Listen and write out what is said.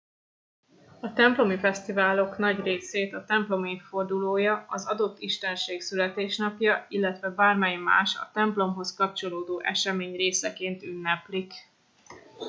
a templomi fesztiválok nagy részét a templom évfordulója az adott istenség születésnapja illetve bármely más a templomhoz kapcsolódó esemény részeként ünneplik